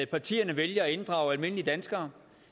partierne vælger at inddrage almindelige danskere